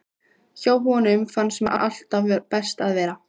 Hjá honum fannst mér alltaf best að vera.